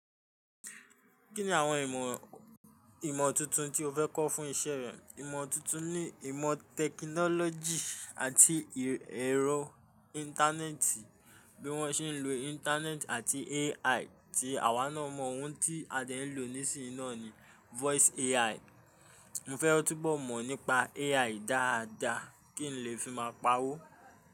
Kí ni àwọn ìmọ̀, ìmọ̀ tuntun tí o fẹ́ kọ́ fún iṣẹ́ rẹ? Ìmọ̀ tuntun ni ìmọ̀ technology àti ẹ̀rọ Íńtánẹ́ẹ̀tì. Bí wọ́n ṣe ń lo Íńtánẹ́ẹ̀tì àti AI tí àwa náà mọ ohun tí a dẹ̀ ń lò nísìn náà ni voice AI. Mo fẹ́ kó túbọ̀ mọ̀ nípa AI dáadáa kí n lè fi máa pa'wó.